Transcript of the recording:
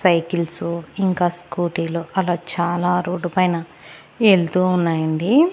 Cycles ఇంకా scooty లు అలా చాలా రోడ్డు పైన ఎల్తు ఉన్నాయండి.